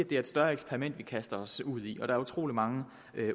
det er et større eksperiment vi kaster os ud i og at der er utrolig mange